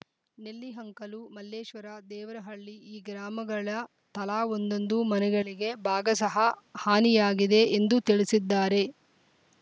ನೆಲ್ಲಿಹಂಕಲು ಮಲ್ಲೇಶ್ವರ ದೇವರಹಳ್ಳಿ ಈ ಗ್ರಾಮಗಳ ತಲಾ ಒಂದೊಂದು ಮನೆಗಳಿಗೆ ಭಾಗಶಃ ಹಾನಿಯಾಗಿದೆ ಎಂದು ತಿಳಿಸಿದ್ದಾರೆ